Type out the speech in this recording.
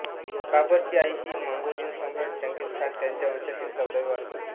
बाबरची आई ही मंगोलियन सम्राट चंगीझ खान याच्या वंशातील चौदावी वारस होती